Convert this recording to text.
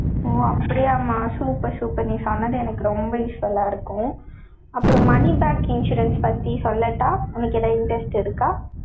ஓ, அப்படியாம்மா? super, super நீ சொன்னது, எனக்கு ரொம்ப useful ஆ இருக்கும். அப்புறம், money back insurance பத்தி சொல்லட்டா, உனக்கு எதாவது interest இருக்கா?